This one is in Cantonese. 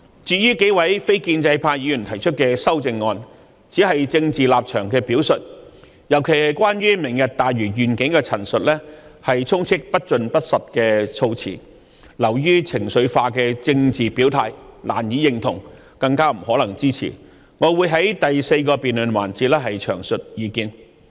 至於幾位非建制派議員提出的修正案，只是政治立場的表述，特別是有關"明日大嶼願景"的陳述，充斥着不盡不實的措辭，流於情緒化的政治表態，令人難以認同，更加不可能支持，我會在第四個辯論環節詳述意見。